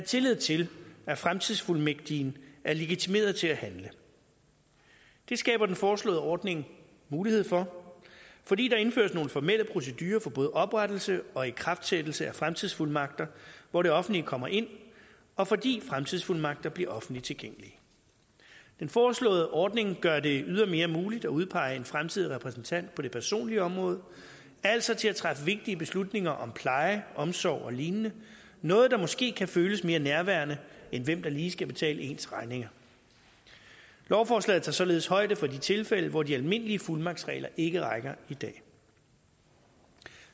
tillid til at fremtidsfuldmægtigen er legitimeret til at handle det skaber den foreslåede ordning mulighed for fordi der indføres nogle formelle procedurer for både oprettelse og ikraftsættelse af fremtidsfuldmagter hvor det offentlige kommer ind og fordi fremtidsfuldmagter bliver offentligt tilgængelige den foreslåede ordning gør det ydermere muligt at udpege en fremtidig repræsentant på det personlige område altså til at træffe vigtige beslutninger om pleje omsorg og lignende noget der måske kan føles mere nærværende end hvem der lige skal betale ens regninger lovforslaget tager således højde for de tilfælde hvor de almindelige fuldmagtsregler ikke rækker i dag